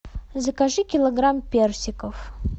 закажи килограмм персиков